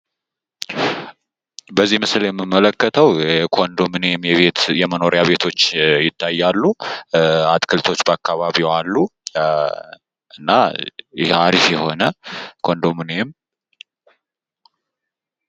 በዚህ ምስል የምመለከተው የኮንዶሚንየም ቤቶች ይታያሉ። አትክልቶች በአካባቢው አሉ ።እና አሪፍ የሆነ ኮንዶሚንየም ነው ።